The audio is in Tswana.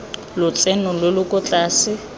lotseno lo lo kwa tlase